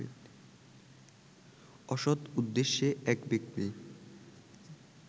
অসৎ উদ্দেশ্যে এক ব্যক্তি